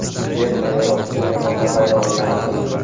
Yer sayyorasining yagona bayrog‘i yaratildi .